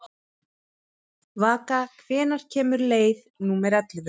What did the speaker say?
Vaka, hvenær kemur leið númer ellefu?